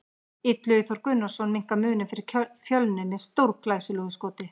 Illugi Þór Gunnarsson minnkar muninn fyrir Fjölni með stórglæsilegu skoti!